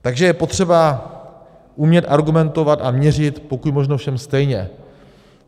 Takže je potřeba umět argumentovat a měřit pokud možno všem stejně.